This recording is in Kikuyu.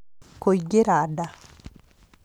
Kũingĩra nda